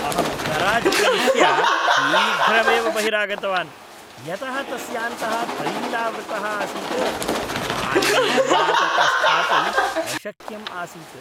अहम् गराज् प्रविष्य, शीघ्रमेव बहिरागतवान्। यतः तस्यान्तः तैलावृतः आसीत्, मालिन्यं विना तत्र स्थातुम् अशक्यम् आसीत्।